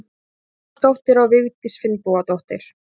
Hákonardóttir og Vigdís Finnbogadóttir.